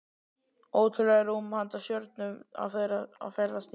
Ótrúlegt rúm handa stjörnum að ferðast í.